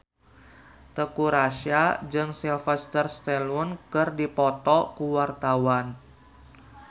Teuku Rassya jeung Sylvester Stallone keur dipoto ku wartawan